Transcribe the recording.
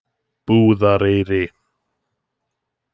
Búðareyri